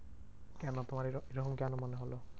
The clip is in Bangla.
কেন তোমার এর এরকম কেন মনে হলো?